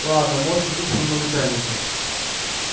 ладно можешь идти к своему начальнику